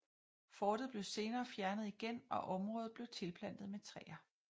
Fortet blev senere fjernet igen og området blev tilplantet med træer